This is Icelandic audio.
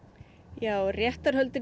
já réttarhöldin